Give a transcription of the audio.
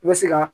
I bɛ se ka